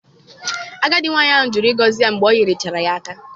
Agadi nwaanyị ahụ jụrụ ịgọzi ya mgbe o nyechaara ya aka.